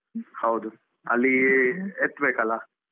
ಹೌದು ಅಲ್ಲೀ ಎತ್ಬೇಕಲ್ಲ?